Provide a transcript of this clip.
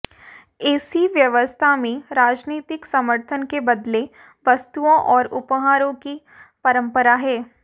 ऐसी व्यवस्था में राजनीतिक समर्थन के बदले वस्तुओं और उपहारों की परंपरा है